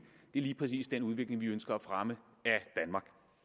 er lige præcis den udvikling vi ønsker at fremme